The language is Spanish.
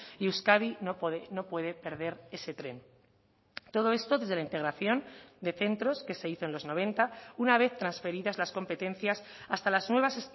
y euskadi no puede perder ese tren todo esto desde la integración de centros que se hizo en los noventa una vez transferidas las competencias hasta las nuevas